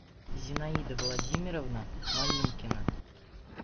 зинаида владимировна малинкина